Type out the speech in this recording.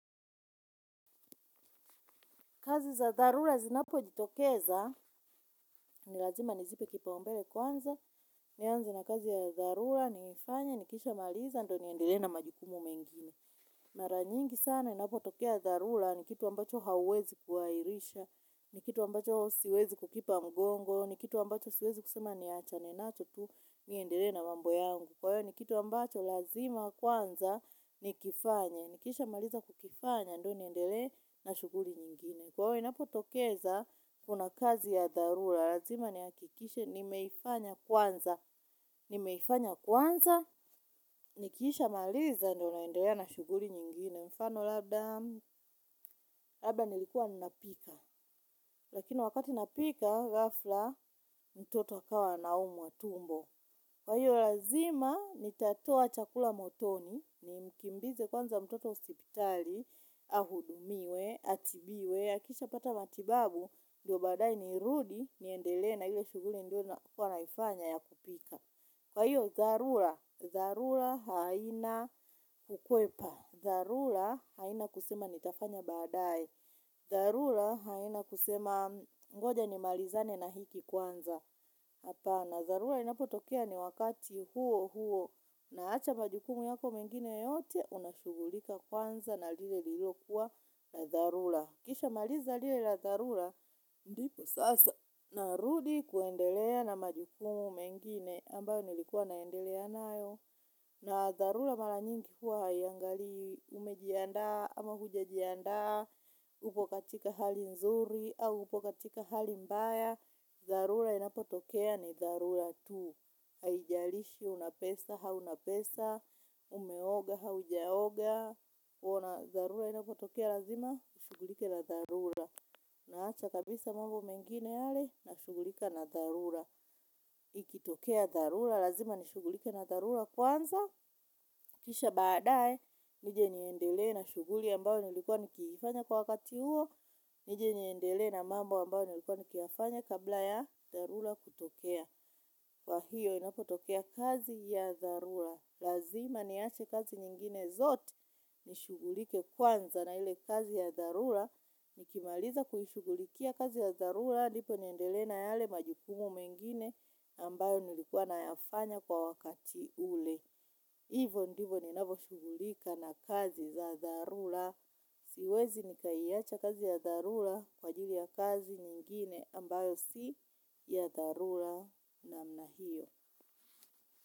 Kazi za hharula zinapo jitokeza, nilazima nizipe kibaombele kwanza, nianze na kazi ya dharula, nifanya, nikishamaliza, ndo niendele na majukumu mengine. Maranyingi sana, inapo tokea tharula, nikitu ambacho hauwezi kuairisha, nikitu ambacho siwezi kukipa mgongo, nikitu ambacho siwezi kusema niachane nacho tu, niendele na mambo yangu. Kwa hiyo nikitu ambacho lazima kwanza, nikifanya, nikisha maliza kukifanya, ndo niendele na shuguli nyingine. Kwa hiyo napotokeza, kuna kazi ya dharura, lazima ni akikishe, nimeifanya kwanza. Nimeifanya kwanza, nikisha maliza, ndio naendelea na shuguri nyingine, mfano labda, labda nilikuwa ninapika. Lakini wakati napika, gafla, mtoto akawa anaumwa tumbo. Kwa hiyo, lazima, nitatoa chakula motoni, nimkimbize kwanza mtoto hosipitali, ahudumiwe, atibiwe, akisha pata matibabu, ndio badae niirudi niendele na hile shuguli nilokuwa naifanya ya kupika. Kwa hiyo, zarula. Dharula haina ukwepa. Dharula haina kusema nitafanya badae dharula haina kusema ngoja nimalizane na hiki kwanza. Hapana dharula inapotokea ni wakati huo huo unahacha majukumu yako mengine yote unashugulika kwanza na lile lilo kuwa na dharula. Kisha maliza lila dharura, ndipo sasa narudi kuendelea na majukumu mengine ambayo nilikuwa naendelea nayo. Na dharura mara nyingi huwa hayangaliwi umejianda ama hujajianda, upokatika hali nzuri au upokatika hali mbaya. Dharura inapotokea ni dharura tu. Haijalishi unapesa, au unapesa, umeoga, haujaoga. Unauona dharura inapotokea lazima, ushugulike na dharura. Naacha kabisa mambo mengine yale, nashugulika na dharura. Ikitokea dharura, lazima nishugulike na dharura kwanza. Kisha baadae nije niendelee na shughuli ambayo nilikuwa naifanya kwa wakati huo. Nije niendele na mambo ambayo nilikuwa nikifanya kabla ya dharura kutokea. Kwa hiyo inapotokea kazi ya dharura. Lazima niaje kazi nyingine zote nishugulike kwanza na ile kazi ya darula. Nikimaliza kuhishugulikia kazi ya darula nipo niendelena yale majukumu mengine ambayo nilikuwa nayafanya kwa wakati ule. Hivo ndivo ninavo shugulika na kazi za darula. Siwezi nikaiacha kazi ya darula kwa ajili ya kazi nyingine ambayo si ya darula namna hiyo.